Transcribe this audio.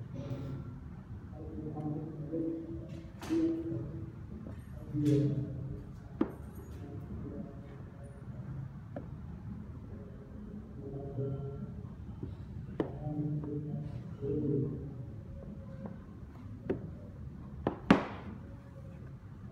howshan aad bay muhim utahay xoolaa dhaqashada a ama dadka kale si ay meel katiin oga furtan ama xoolahoda kudhaqdan si ay udhirigalyaan ama aya cafimaadkooda kafurtaan ama noloshooda wax ooga qabsadaan si ay beri kamaalin noloshooda wax oogu qabsadan